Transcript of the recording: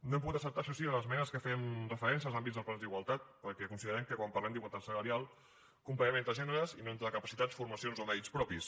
no hem pogut acceptar això sí les esmenes que feien referència als àmbits dels plans d’igualtat perquè considerem que quan parlem d’igualtat salarial comparem entre gèneres i no entre capacitats formacions o mèrits propis